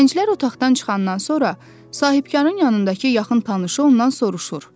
Gənclər otaqdan çıxandan sonra sahibkarın yanındakı yaxın tanışı ondan soruşur: